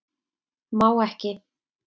Má ekki